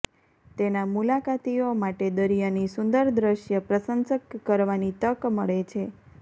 તેના મુલાકાતીઓ માટે દરિયાની સુંદર દૃશ્ય પ્રશંસક કરવાની તક મળે છે